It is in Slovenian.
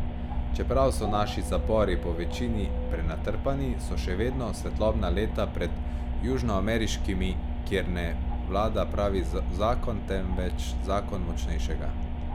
Čeprav so naši zapori po večini prenatrpani, so še vedno svetlobna leta pred južnoameriškimi, kjer ne vlada pravi zakon, temveč zakon močnejšega.